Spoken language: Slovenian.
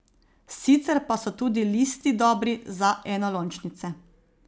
Sicer pa so tudi listi dobri, za enolončnice.